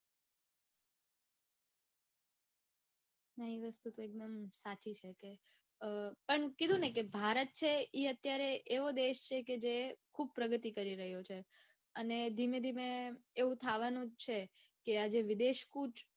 નઈ એ વસ્તુ તો એકદમ સાચી છે કે પણ કીધુંને કે ભારત છે એ અત્યારે એવો દેશ છે કે જે ખુબ પ્રગતિ કરી રહ્યો છે અને ધીમે ધીમે એવું થાવાનું જ છે કે આ જે વિદેશ કુચ